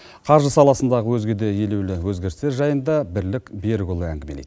қаржы саласындағы өзге де елеулі өзгерістер жайында бірлік берікұлы әңгімелейді